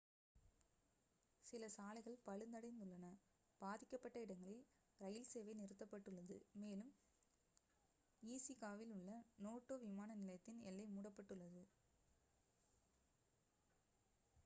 சில சாலைகள் பழுதடைந்துள்ளன பாதிக்கப்பட்ட இடங்களில் ரயில்சேவை நிறுத்தப்பட்டுள்ளது மேலும் ஈஸிகாவில் உள்ள நோட்டோ விமான நிலையத்தின் எல்லை மூடப்பட்டுள்ளது